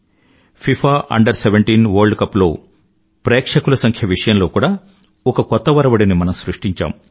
FIFA Under17 world cup లో ప్రేక్షకుల సంఖ్య విషయంలో కూడా ఒక కొత్త ఒరవడిని మనం సృష్టించాం